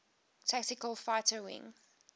tactical fighter wing